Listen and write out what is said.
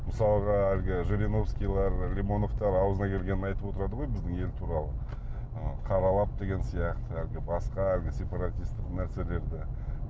мысалға әлгі жириновскийлер лимоновтар аузына келгенін айтып отырады ғой біздің ел туралы ы қаралап деген сияқты әлгі басқа әлгі сепаратистік нәрселерді